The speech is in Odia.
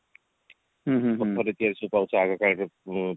ପଥରରେ ତିଆରି ସେ ପାହୁଚ ସେ ଆଗ କାଳେ ସବୁ